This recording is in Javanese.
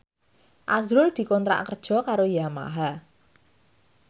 azrul dikontrak kerja karo Yamaha